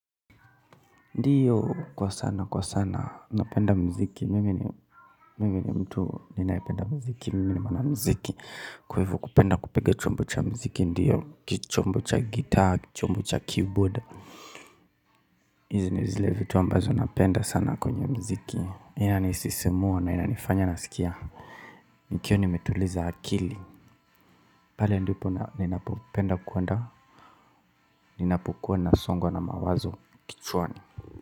Ndiyo kwa sana kwa sana napenda muziki mimi ni mtu ninayependa muziki mimi ni mwanamziki kwa hivo kupenda kupiga chombo cha muziki ndiyo kichombo cha gitaa kichombo cha keyboard hizi ni zile vitu ambazo napenda sana kwenye muziki yanisisimua na inanifanya nasikia nikiwa nimetuliza akili pale ndipo ninapopenda kuanda ninapokuwa na msongo na mawazo kichwani.